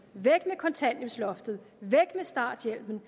kontanthjælpsloftet væk med starthjælpen